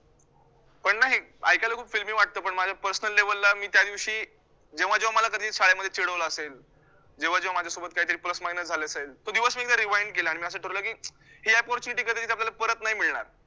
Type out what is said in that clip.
पण ना हे एक ऐकायला खूप filmy वाटतं, पण माझ्या personal level ला मी त्यादिवशी, जेव्हा जेव्हा मला कधी शाळेमध्ये चिडवले असेल, जेव्हा जेव्हा माझ्यासोबत काहीतरी plus minus झालं असेल, तो दिवस मी एकदा rewind केला आणि मी असं ठरवलं की, ही परिस्थिति आपल्याला परत नाही मिळणार